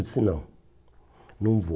Eu disse, não, não vou.